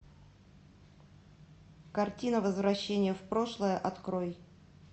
картина возвращение в прошлое открой